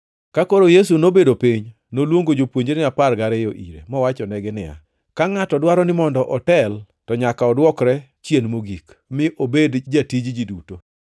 Ka koro Yesu nobedo piny, noluongo jopuonjrene apar gariyo ire mowachonegi niya, “Ka ngʼato dwaro ni mondo otel to nyaka odwokre chien mogik, mi obed jatij ji duto.”